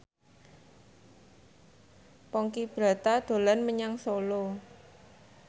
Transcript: Ponky Brata dolan menyang Solo